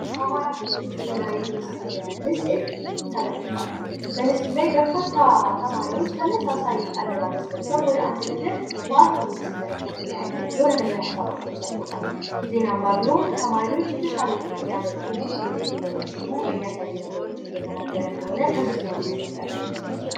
ከአማራ ክልል ዜና የተወሰደ ምስል ተመልክቷል። በምስሉ ላይ በርካታ ተማሪዎች ተመሳሳይ አለባበስ ለብሰው ወደ አንድ ነገር በአትኩሮት ሲመለከቱ እናያለን። የሆነ ነገር ሐሳባቸውን ሰቆጣታል። ዜና አንባቢውም ተማሪዎች የተሻለ ውጤት ሊያመጡ እንዴት እንደሚችሉ የሚያሳዩ ነገሮችን እየተናገረ እንደሆነ ከዝርዝሩ እንረዳለን።